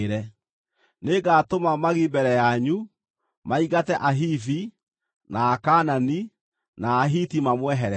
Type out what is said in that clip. Nĩngatũma magi mbere yanyu, maingate Ahivi, na Akaanani na Ahiti mamweherere.